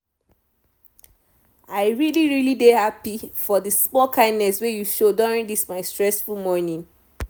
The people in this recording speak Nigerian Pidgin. i really really dey happy for the small kindness wey you show during this my stressful morning.